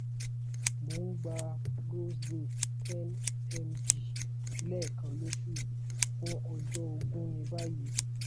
mo ń gba roseday ten mg lẹ́ẹkan lóṣù fún ọjọ́ ógún ní báyìí